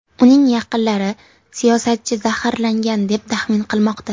Uning yaqinlari siyosatchi zaharlangan, deb taxmin qilmoqda.